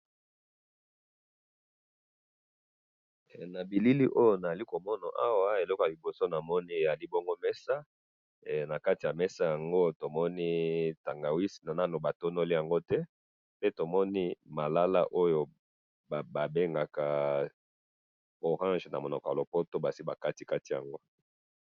he na bilili oyo nazali komona awa eloko ya liboso tozali komona awa eloko ya liboso tomoni awa ezali mesana likolo ya mesa yango tomoni tangawisi mais nanu batongoli yango te pe tomoni balala oyo babengaka orange na munoko ya lopoto esi bakatikati yango mais